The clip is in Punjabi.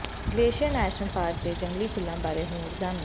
ਗਲੇਸ਼ੀਅਰ ਨੈਸ਼ਨਲ ਪਾਰਕ ਦੇ ਜੰਗਲੀ ਫੁੱਲਾਂ ਬਾਰੇ ਹੋਰ ਜਾਣੋ